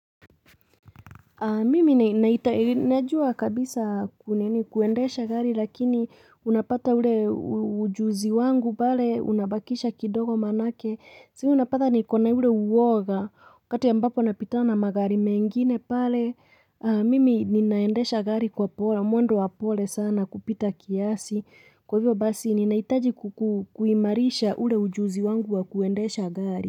Mimi najua kabisa kunini kuendesha gari lakini unapata ule ujuzi wangu pale unabakisha kidogo manake Si unapata niko na ule uwoga wakati ambapo napitana magari mengine pale Mimi ninaendesha gari kwa pole mwendo wa pole sana kupita kiasi Kwa hivyo basi ninaitaji kuimarisha ule ujuzi wangu wa kuendesha gari.